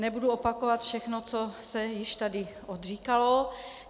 Nebudu opakovat všechno, co se již tady odříkalo.